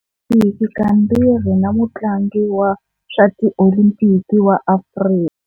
Tiolimpiki kambirhi na mutlangi wa swa tiolimpiki wa Afrika.